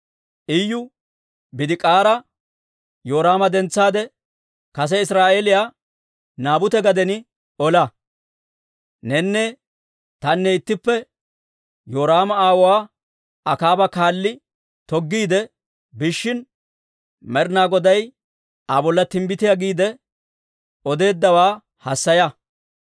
Iyu Bidik'aara, «Yoraama dentsaade, kase Iziraa'eeliyaa Naabute gaden ola. Nenne tanne ittippe Yoraama aawuwaa Akaaba kaalli toggiide biishshin, Med'ina Goday Aa bolla timbbitiyaa giide odeeddawaa hassaya.